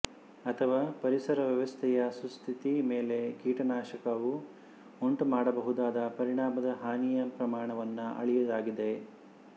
ಅಥವಾ ಪರಿಸರವ್ಯವಸ್ಥೆಯ ಸುಸ್ಥಿತಿ ಮೇಲೆ ಕೀಟನಾಶಕವು ಉಂಟು ಮಾಡಬಹುದಾದ ಪರಿಣಾಮದ ಹಾನಿಯ ಪ್ರಮಾಣವನ್ನು ಅಳೆಯುವುದಾಗಿದೆ